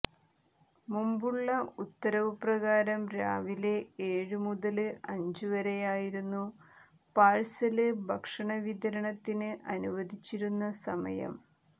മുമ്പുള്ള ഉത്തരവു പ്രകാരം രാവിലെ ഏഴു മുതല് അഞ്ചു വരെയായിരുന്നു പാഴ്സല് ഭക്ഷണ വിതരണത്തിന് അനുവദിച്ചിരുന്ന സമയം